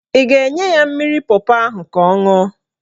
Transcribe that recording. Ị ga-enye ya mmiri pọpọ ahụ ka ọ ṅụọ?